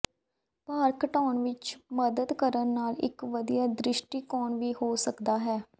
ਭਾਰ ਘਟਾਉਣ ਵਿਚ ਮਦਦ ਕਰਨ ਨਾਲ ਇਕ ਵਧੀਆ ਦ੍ਰਿਸ਼ਟੀਕੋਣ ਵੀ ਹੋ ਸਕਦਾ ਹੈ